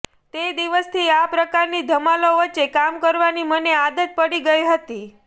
તે દિવસથી આ પ્રકારની ધમાલો વચ્ચે કામ કરવાની મને આદત પડી ગઈ હતી